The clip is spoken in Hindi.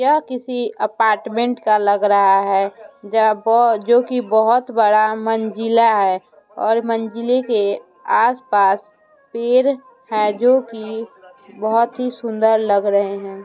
यह किसी अपार्टमेंट का लग रहा है जह जो कि जो कि बहुत बड़ा मंजिला है और मंजिले के आसपास पेड़ हैं जो कि बहोत ही सुंदर लग रहे हैं।